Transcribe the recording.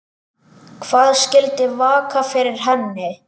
Hvað skyldi vaka fyrir henni?